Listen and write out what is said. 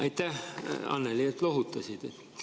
Aitäh, Annely, et lohutasid!